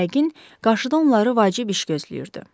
Yəqin, qarşıda onları vacib iş gözləyirdi.